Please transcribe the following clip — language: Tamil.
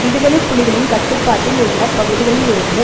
விடுதலை புலிகளின் கட்டுப்பாட்டில் உள்ள பகுதிகளில் இருந்து